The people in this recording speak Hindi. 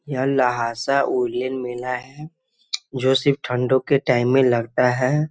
यह लहासा वूलन मेला है जो सिर्फ ठंडो के टाइम में लगता है।